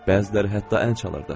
Bəziləri hətta əl çalırdı.